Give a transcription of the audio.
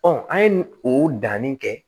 an ye nin o danni kɛ